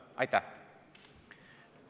Aitäh!